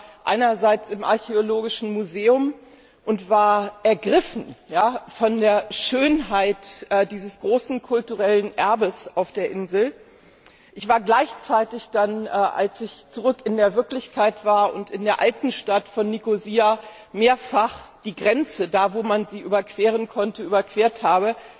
Ich war einerseits im Archäologischen Museum und war ergriffen von der Schönheit dieses großen kulturellen Erbes auf der Insel. Andererseits war ich dann, als ich zurück in der Wirklichkeit war und in der Altstadt von Nikosia mehrfach die Grenze da, wo man sie überqueren konnte, überquert habe,